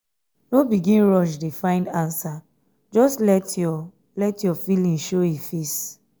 no begin rush find ansa just let yur let yur feeling show e face